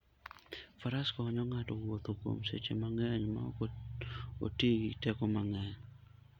Faras konyo ng'ato wuotho kuom seche mang'eny maok oti gi teko mang'eny.